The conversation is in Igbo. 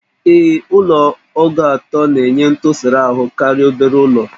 Ee, Ụlọ ogo atọ na-enye ntụsara ahụ karịa obere ụlọ